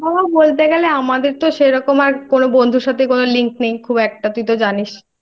বলতে গেলে আমাদের তো সেরকম আর কোন বন্ধুর সাথে কোনো Link নেই খুব একটা তুই তো জানিসI